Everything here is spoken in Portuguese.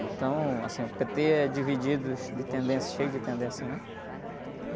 Então, assim, o pê-tê é divididos, de tendências, cheio de tendências, né?